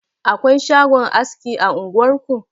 Akwai shagon aski a unguwar ku?